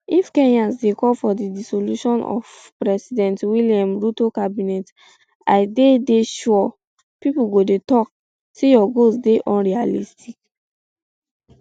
if kenyans dey call for di dissolution of um [president william] ruto cabinet i dey dey sure pipo go dey tok um say your goals dey unrealistic